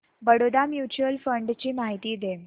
Baroda mutual fund ची माहिती दे